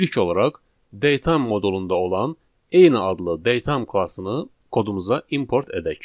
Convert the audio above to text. İlk olaraq datetime modulunda olan eyni adlı datetime klassını kodumuza import edək.